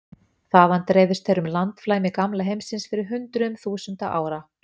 Þaðan dreifðust þeir um landflæmi gamla heimsins fyrir hundruðum þúsunda ára.